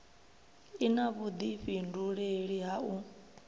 i na vhudifhinduleli ha u